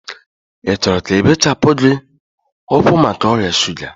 ị chọrọ ka ebechapụ gị ụkwụ maka ọrịa shuga?